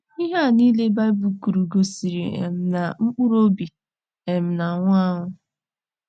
Ihe a niile Baịbụl kwuru gosiri um na mkpụrụ obi um na - anwụ anwụ.